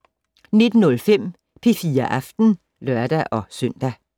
19:05: P4 Aften (lør-søn)